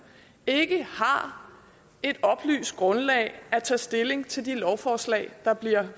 ikke har et oplyst grundlag at tage stilling til de lovforslag der bliver